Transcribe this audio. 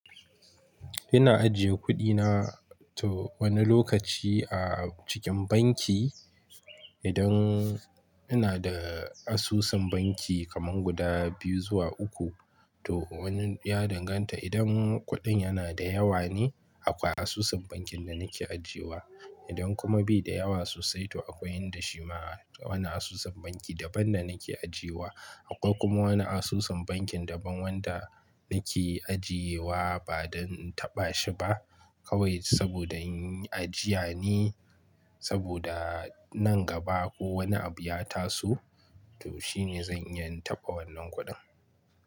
Ina ajiye kuɗina to wani lokaci a cikin banki. Idan ina da asusun banki kaman guda biyu zuwa uku. To wani ya danganta idan kuɗin yana da yawa ne, akwai asusun bankin da nake ajiye wa. Idan kuma bai da yawa sosai, to akwai yin dashe ma wa na asusun banki daban da nake ajiye wa. Akwai kuma wani asusun bankin daban wanda nake ajiye wa ba dan in taɓa shi ba. Kawai saboda in yi ajiya ne saboda nan gaba ko wani abu ya taso. To shine zan iya in taɓa wannan kuɗin.